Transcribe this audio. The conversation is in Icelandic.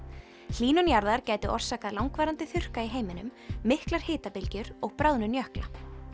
hlýnun jarðar gæti orsakað langvarandi þurrka í heiminum miklar og bráðnun jökla